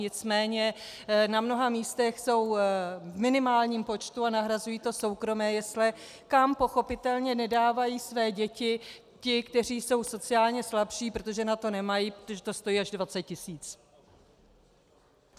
Nicméně na mnoha místech jsou v minimálním počtu a nahrazují to soukromé jesle, kam pochopitelně nedávají své děti ti, kteří jsou sociálně slabší, protože na to nemají, protože to stojí až 20 tisíc.